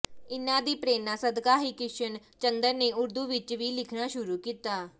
ਇਨ੍ਹਾਂ ਦੀ ਪ੍ਰੇਰਨਾ ਸਦਕਾ ਹੀ ਕ੍ਰਿਸ਼ਨ ਚੰਦਰ ਨੇ ਉਰਦੂ ਵਿੱਚ ਵੀ ਲਿਖਣਾ ਸ਼ੁਰੂ ਕੀਤਾ